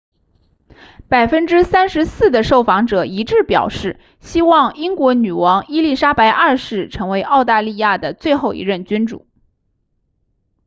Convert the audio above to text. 34% 的受访者一致表示希望英国女王伊丽莎白二世成为澳大利亚的最后一任君主